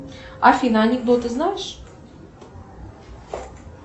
афина анекдоты знаешь